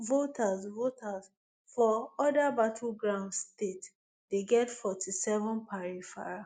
voters voters for oda battleground state dey get forty-seven per refera